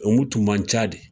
Olumu tun man ca de